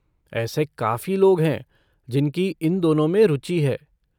ऐसे काफ़ी लोग हैं जिनकी इन दोनों में रुचि है।